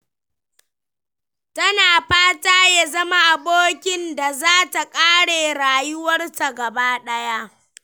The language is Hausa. Tana fata ya zama abokin da za ta ƙare rayuwarta gabaɗaya.